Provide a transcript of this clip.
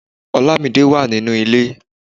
Olamide wà nínú ilé.